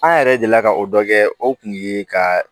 An yɛrɛ delila ka o dɔ kɛ o kun ye ka